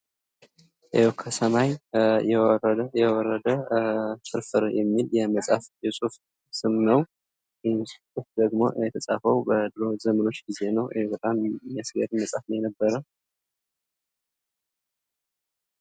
የው ከሰማይ የወረደ የወረደ ፍርፍር የሚል የመፃፍ የፅሁፍ ስም ነው። ይህም ፅሁፍ ደግሞ የተፃፈው በኖህ ዘመኖች ጊዜ ነው ይህ በጣም የሚያስገርም መፅሀፍ ነው የነበረ።